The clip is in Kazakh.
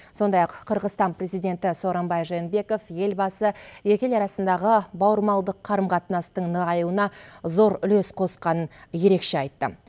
сондай ақ қырғызстан президенті сооронбай жээнбеков елбасы екі ел арасындағы бауырмалдық қарым қатынастың нығаюына зор үлес қосқанын ерекше айтты